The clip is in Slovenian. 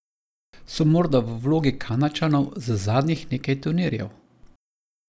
So morda v vlogi Kanadčanov z zadnjih nekaj turnirjev?